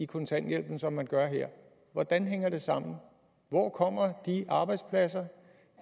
kontanthjælpen som man gør her hvordan hænger det sammen hvor kommer de arbejdspladser